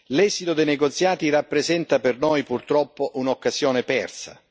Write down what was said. l'esito dei negoziati rappresenta per noi, purtroppo, un'occasione persa.